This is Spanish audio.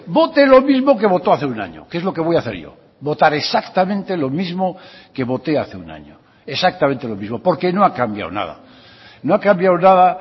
vote lo mismo que votó hace un año que es lo que voy a hacer yo votar exactamente lo mismo que voté hace un año exactamente lo mismo porque no ha cambiado nada no ha cambiado nada